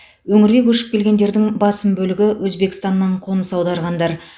өңірге көшіп келгендердің басым бөлігі өзбекстаннан қоныс аударғандар